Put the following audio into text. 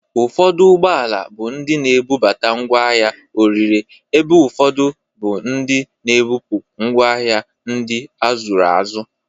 Ufọdụ ụgbọala bụ ndị na-ebubata ngwa ahịa orire, ebe ufọdụ bụ ndị na-ebupu ngwa ahịa ndị azụrụ azụ.